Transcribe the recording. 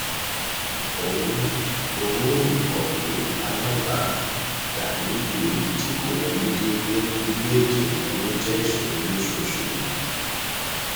owó owó òǹkọwé alábàádàlúgbùú tí kò wọlé déédéé mú gbígbé ètò ìnáwó jẹ ìṣòro lóṣooṣù